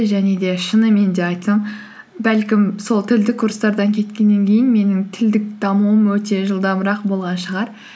және де шынымен де айтсам бәлкім сол тілдік курстардан кеткеннен кейін менің тілдік дамуым өте жылдамырақ болған шығар